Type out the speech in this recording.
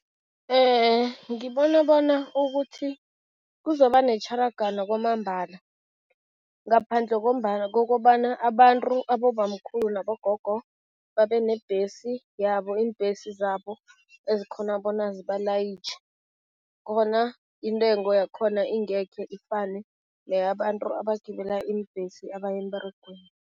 Ngibona bona ukuthi kuzoba netjharagano kwamambala, ngaphandle kokobana abantu, abobamkhulu nabogogo babe nebhesi yabo, iimbhesi zabo ezikghona bona zibalayitjhe, khona intengo yakhona ingeke ifane neyabantu abagibela iimbhesi abaya emberegweni.